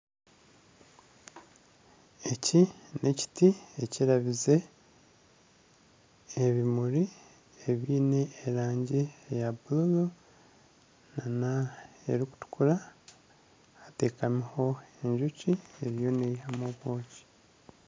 Eki n'ekiti ekirabize ebimuri ebiine erangi eya bururu nana erikutukura. Hateekamiho enjoki eriyo neihamu obwoki.